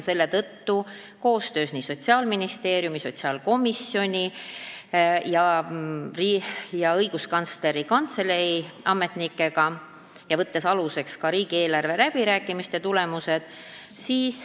Selle tõttu tegid Sotsiaalministeeriumi, sotsiaalkomisjoni ja Õiguskantsleri Kantselei ametnikud koostööd ning võeti aluseks ka riigieelarve läbirääkimiste tulemused.